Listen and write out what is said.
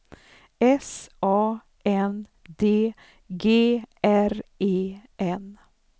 S A N D G R E N